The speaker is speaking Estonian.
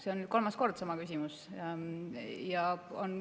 See on nüüd kolmas kord sama küsimus.